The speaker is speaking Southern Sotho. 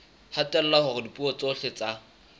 hatella hore dipuo tsohle tsa